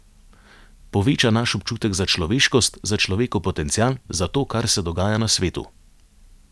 Poveča naš občutek za človeškost, za človekov potencial, za to, kar se dogaja na svetu.